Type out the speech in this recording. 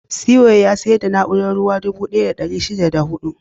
Cway ya sayar da na'urar raba ruwa dubu ɗaya da ɗari shida da huɗu.